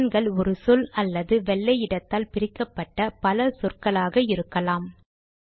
command கள் ஒரு சொல் அல்லது வெள்ளை இடத்தால் பிரிக்கப்பட்ட பல சொற்களாக இருக்கலாம்